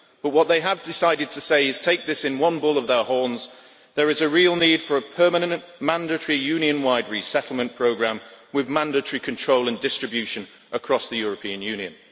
But what they have decided to say, in taking this one bull by the horns, is that there is a real need for a permanent mandatory Union wide resettlement programme with mandatory control and distribution across the European Union.